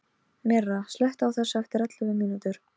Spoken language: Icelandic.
Myrra, slökktu á þessu eftir ellefu mínútur.